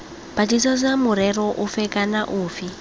batlisisa morero ofe kana ofe